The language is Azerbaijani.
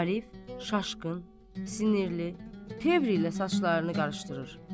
Arif şaşkın, sinirli, tevr ilə saçlarını qarışdırır.